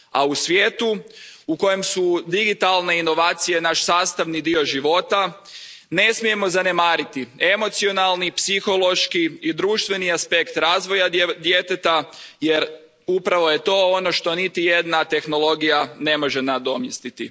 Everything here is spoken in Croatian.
A u svijetu u kojem su digitalne inovacije naš sastavni dio života, ne smijemo zaboraviti emocionalni, psihološki i društveni aspekt razvoja djeteta jer upravo je to ono što ni jedna tehnologija ne može nadomjestiti.